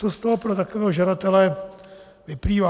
Co z toho pro takového žadatele vyplývá?